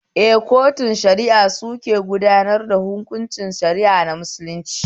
Eh, kotunan shari'a suke gudanar hunkunci na shara'ar musulunci